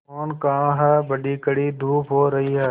मोहन कहाँ हैं बड़ी कड़ी धूप हो रही है